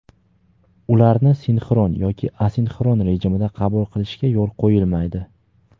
ularni sinxron yoki asinxron rejimida qabul qilishga yo‘l qo‘yilmaydi.